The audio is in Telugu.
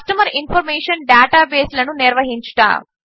కస్టమర్ ఇన్ఫార్మేషన్ డేటాబేసులను నిర్వహించుట